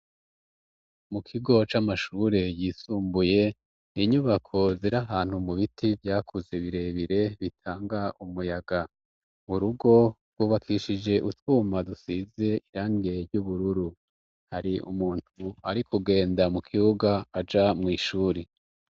mukigo c'amashure yisumbuye inyubako ziri ahantu mubiti vyakuze birebire bitanga umuyaga urugo rwubakishije utwuma dusize irange ry'ubururu hari umuntu ari kugenda mu kibuga aja mw' ishuri